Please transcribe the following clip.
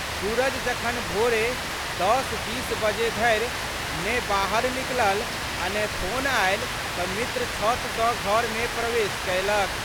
सूरज जखन भोरे 10:20 बजे धरि ने बाहर निकलल आ ने फोन आयल त' मित्र छत सं घर मे प्रवेश कयलक।